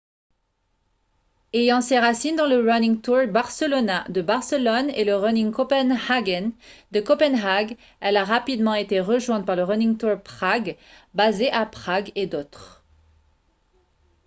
ayant ses racines dans le running tours barcelona de barcelone et le running copenhagen de copenhague elle a rapidement été rejointe par le running tours prague basé à prague et d'autres